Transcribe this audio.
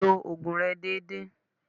Lo ògùn rẹ dédé.